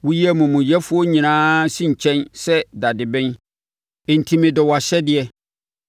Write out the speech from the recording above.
Woyi amumuyɛfoɔ nyinaa si nkyɛn sɛ dadeben; enti medɔ wʼahyɛdeɛ.